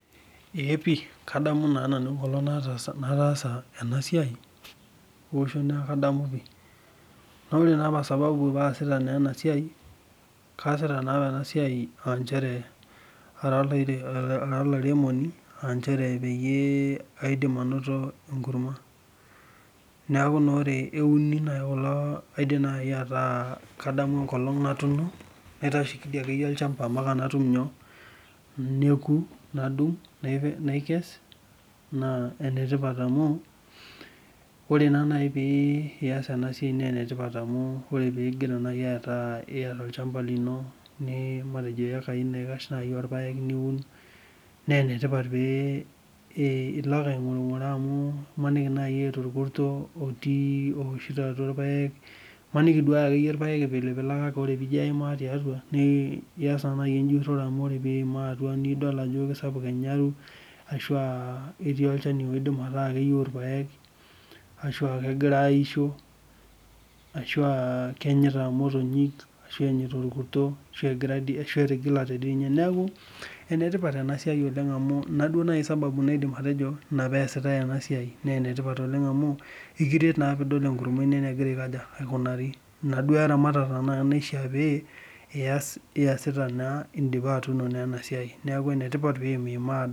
Eee pii kadamu naa nanu enkolong nataasa ena siai oshu naa kadamu opii, naa ore naa esababu naatasita na ena siai, kaasita naa ena siai aa inchere ara ilairemoni aa inchere peyie aidim anoto enkurrumwa, naaku naa ore euni nai kulo kaidim nai ataa kadamu nkolong natuno, naitasheki dei ake iyie ilchamba mpaka natum nyoo, neku, nadung' naikes naa enetipat amu, ore neii pee iyas ena siaai naa enetipat amu amu ore piigira nai aata ieta olchamba lino, nii matejo ekai naikash nai orpaek niun, naa enetipat pee ilo ake eing'urng'uraa amu imaniki naa ilo aitei ilkurto otii ooshito, imaniki dei ake iyie irpaek eipilpilaka kore piijo alo aimaa tiatua niyas enjuroto amu ore piimaa atua nidol ajo esapuk enyalu ashu aa etii olchani oidim ataa keyeu olpaek ashu aakegira aisho, ashu aa kenyata motonyik, ashu enyeta irkurto ashu etigalate dei ninye, naaku enetipat ena siai oleng amu inaduo nai esababu naidim atojo ina peasitae ena siai, naa enetipat oleng amu ekiret naa piidol enkurumwa ino enegira aikoja, aikunari, ina duo eramatata naa naishaa pee iyasita naa indipa atuno ena siai naaku enetipat pee iyimyimaa.